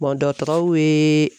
dɔgɔtɔrɔw ye.